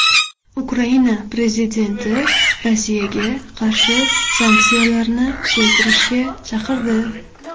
Ukraina prezidenti Rossiyaga qarshi sanksiyalarni kuchaytirishga chaqirdi.